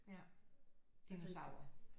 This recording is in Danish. Ja dinosaurer